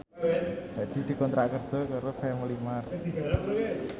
Hadi dikontrak kerja karo Family Mart